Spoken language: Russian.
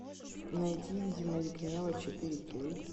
найти видимость гнева четыре кей